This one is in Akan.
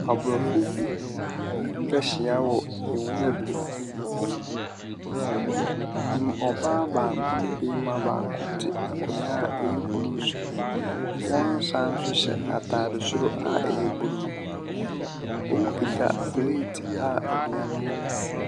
Abrɔfo bi etwa ahyia wɔ nwura bi mu. Ɔbaa baako ne barima te akonwa a ɛyɛ blu so. Wɔsan so hyɛ ataade a ɛyɛ blu. Ɔmo kita plet a aduane wom.